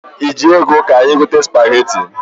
I ji ego ka anyị gote spageti?